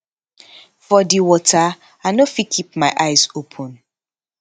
for di water i no fit keep my eyes open